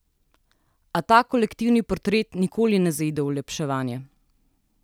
A ta kolektivni portret nikoli ne zaide v olepševanje.